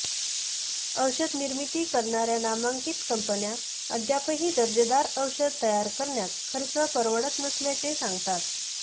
औषध निर्मिती करणाऱया नामांकित कंपन्या अद्यापही दर्जेदार औषध तयार करण्यास खर्च परवडत नसल्याचे सांगतात